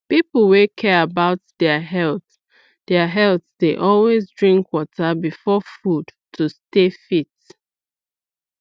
people wey care about their health their health dey always drink water before food to stay fit